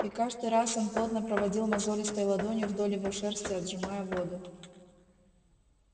и каждый раз он плотно проводил мозолистой ладонью вдоль его шерсти отжимая воду